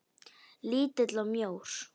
Lítill og mjór.